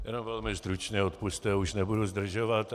Jenom velmi stručně, odpusťte, už nebudu zdržovat.